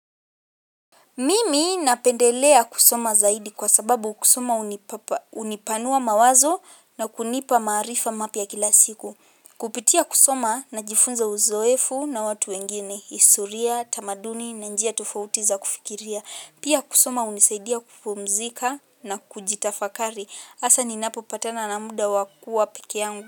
Mimi napendelea kusoma zaidi kwa sababu kusoma unipanua mawazo na kunipa maarifa mapya kila siku. Kupitia kusoma na jifunza uzoefu na watu wengine. Historia, tamaduni, na njia tofautiza kufikiria. Pia kusoma unisaidia kupumzika na kujitafakari. Asa ninapopatana namuda wa kuwa pekeyangu.